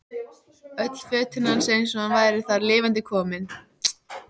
Öll fötin hans eins og hann væri þar lifandi kominn.